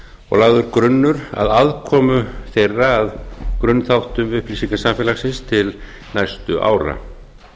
og lagður grunnur að aðkomu þeirra að grunnþáttum upplýsingasamfélagsins til næstu ára